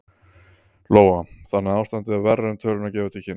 Lóa: Þannig að ástandið er verra en tölurnar gefa til kynna?